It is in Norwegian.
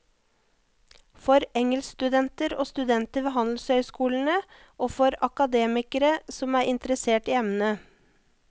For engelskstudenter og studenter ved handelshøyskolene, og for akademikere som er interessert i emnet.